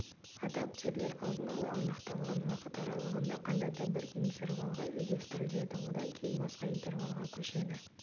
адаптерлер алдын-ала анықталған уақыт аралығында қандай да бір интервалға үйлестіріледі одан кейін басқа интервалға көшеді